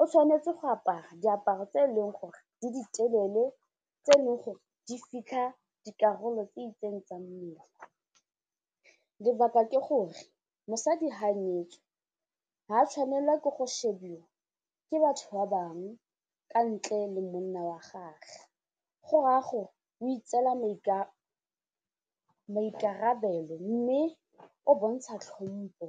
o tshwanetse go apara diaparo tse eleng gore le di telele tse e leng gore di fitlha dikarolo tse itseng tsa mmele, lebaka ke gore mosadi ga a nyetswe ha tshwanelwa ke go shebiwa ke batho ba bangwe ka ntle le monna wa gagwe go raya o itseela maikarabelo mme o bontsha tlhompo.